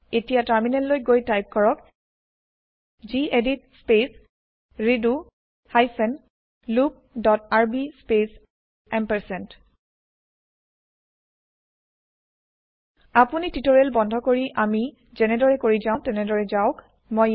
এতিয়া টাৰ্মিনেল লৈ গৈ টাইপ কৰক gedit space redo hyphen loop dot rb space আপুনি টিওটেৰিয়েল বন্ধ কৰি আমি যেনেদৰে কৰি যাও তেনেদৰে যাওক